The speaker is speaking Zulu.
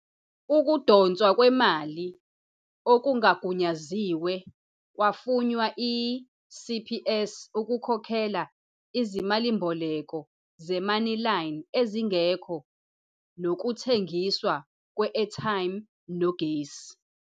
Ukudonswa kwemali okungagunyaziwe kwafunwa yi-CPS ukukhokhela izimalimboleko zeMoneyline ezingekho, nokuthengiswa kwe-airtime nogesi.